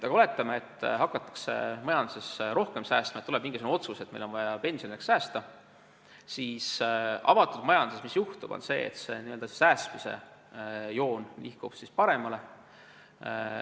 Aga oletame, et majanduses hakatakse rohkem säästma – tuleb mingisugune otsus, et meil on vaja pensionieaks säästa –, siis avatud majanduses juhtub see, et n-ö säästmise joon nihkub paremale.